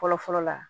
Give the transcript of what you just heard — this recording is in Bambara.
Fɔlɔ fɔlɔ la